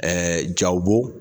jaw b'o